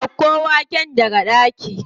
Ɗauko waken daga ɗaki.